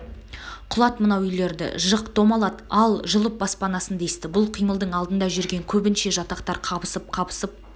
құлат мынау үйлерді жық домалат ал жұлып баспанасын десті бұл қимылдың алдында жүрген көбінше жатақтар қабысып-қабысып